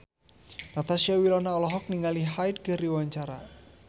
Natasha Wilona olohok ningali Hyde keur diwawancara